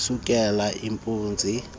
isukela impunzi yedlula